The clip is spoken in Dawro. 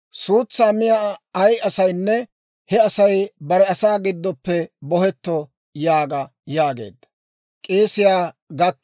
Suutsaa miyaa ay asaynne, he Asay bare asaa giddoppe bohetto› yaaga» yaageedda.